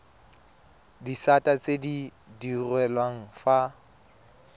disata tse di direlwang fa